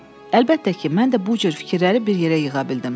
Əlbəttə ki, mən də bu cür fikirləri bir yerə yığa bildim.